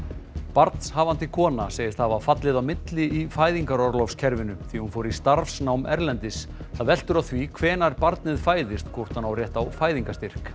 barnshafandi kona segist hafa fallið á milli í fæðingarorlofskerfinu því hún fór í starfsnám erlendis það veltur á því hvenær barnið fæðist hvort hún á rétt á fæðingarstyrk